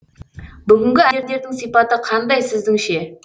бүгінгі әндердің сипаты қандай сіздіңше